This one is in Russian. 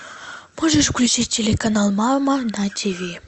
можешь включить телеканал мама на тв